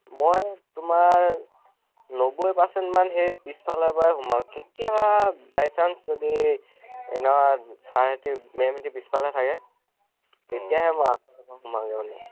মই তোমাৰ নব্বৈ percent মান পিছ্ফালৰ পৰা সোমাও কেতিয়াবা by chance মানে sir হেতি মে'ম হেতি পিছ্ফালে থাকে, তেতিয়া হে ম মানে সুমাই মানে